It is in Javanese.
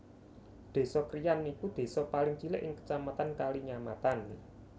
Désa Kriyan iku désa paling cilik ing Kecamatan Kalinyamatan